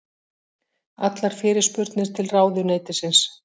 Allar fyrirspurnir til ráðuneytisins